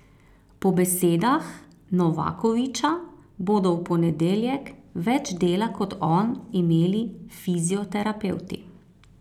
Po besedah Novakovića bodo v ponedeljek več dela kot on imeli fizioterapevti.